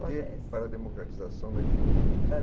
Comitê para a democratização da informática. Para